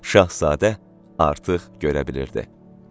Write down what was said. Şahzadə artıq görə bilirdi.